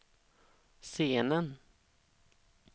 scenen